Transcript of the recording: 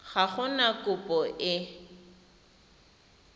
ga go na kopo e